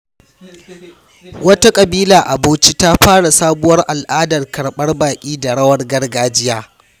Wata ƙabila a Bauchi ta fara sabuwar al’adar karbar baƙi da rawar gargajiya.